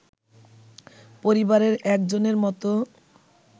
পরিবারের একজনের মত